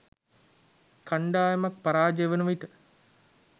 කණ්ඩායමක් පරාජය වන විට